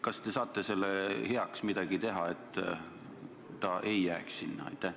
Kas te saate selle heaks midagi teha, et saak ei jääks põllule?